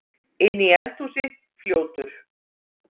Inni í eldhúsi, fljótur.